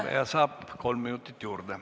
Kõneleja saab kolm minutit juurde.